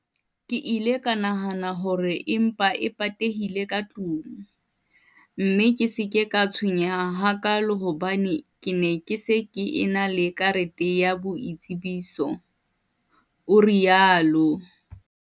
"Ke ile ka nahana hore e mpa e patehile ka tlung, mme ka se ke ka tshwenyeha hakaalo hobane ke ne ke se ke ena le karete ya boitsebiso" o rialo.